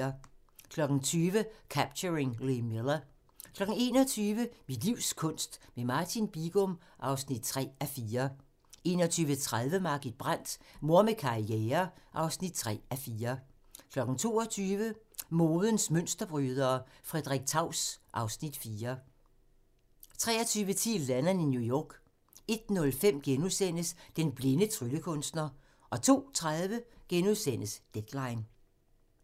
20:00: Capturing Lee Miller 21:00: Mit livs kunst - med Martin Bigum (3:4) 21:30: Margit Brandt – Mor med karriere (3:4) 22:00: Modens Mønsterbrydere: Frederik Taus (Afs. 4) 23:10: Lennon i New York 01:05: Den blinde tryllekunstner * 02:30: Deadline *